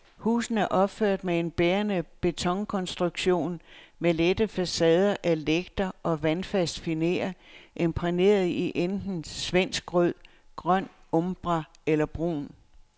Husene er opført med en bærende betonkonstruktion med lette facader af lægter og vandfast finér imprægneret i enten svenskrød, grøn umbra eller brun.